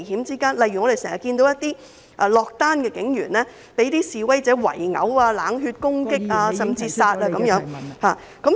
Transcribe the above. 例如我們經常看到一些落單警員被示威者圍毆、冷血攻擊，甚至殺害等......